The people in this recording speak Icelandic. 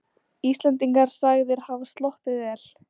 Íslendingar sagðir hafa sloppið vel